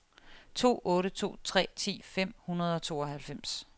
to otte to tre ti fem hundrede og tooghalvfems